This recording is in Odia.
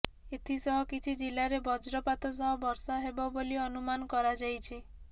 ଏଥିସହ କିଛି ଜିଲ୍ଲାରେ ବଜ୍ରପାତ ସହ ବର୍ଷା ହେବ ବୋଲି ଅନୁମାନ କରାଯାଇଛି